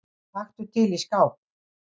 Taktu til í skáp.